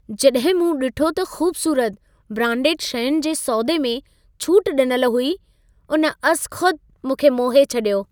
जॾहिं मूं ॾिठो त ख़ूबसुरत, ब्रांडेड शयुनि जे सौदे में छूट ॾिनल हुई, उन अज़ख़ुदि मूंखे मोहे छॾियो।